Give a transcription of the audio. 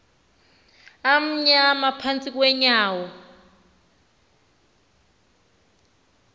amnyama phantsi kweenyawo